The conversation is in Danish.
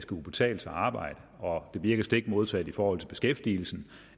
kunne betale sig at arbejde og at det virker stik modsat i forhold til beskæftigelsen